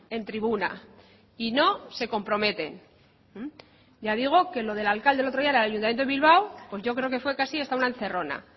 en tribuna y no se comprometen ya digo que lo del alcalde el otro día la del ayuntamiento de bilbao pues yo creo que fue casi hasta una encerrona